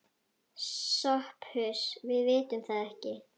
SOPHUS: Við vitum það ekki.